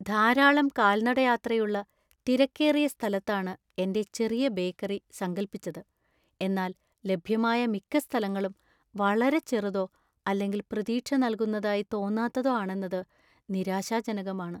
ധാരാളം കാൽനടയാത്രയുള്ള തിരക്കേറിയ സ്ഥലത്താണ് എന്‍റെ ചെറിയ ബേക്കറി സങ്കൽപ്പിച്ചത്, എന്നാൽ ലഭ്യമായ മിക്ക സ്ഥലങ്ങളും വളരെ ചെറുതോ അല്ലെങ്കിൽ പ്രതീക്ഷ നൽകുന്നതായി തോന്നാത്തതോ ആണെന്നത് നിരാശാജനകമാണ്.